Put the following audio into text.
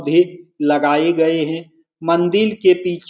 भी लगाई गए है मंदिल के पी --